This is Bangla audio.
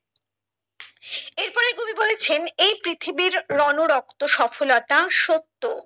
এর পরে কবি বলেছেন এই পৃথিবীর রণ রক্ত সফলতা সত্য